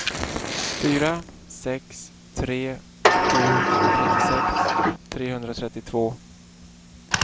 fyra sex tre sju trettiosex trehundratrettiotvå